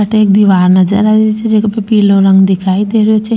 अठे एक दिवार नजर आ रही छे जहा पे पिलो रंग दिखाई दे रो छे।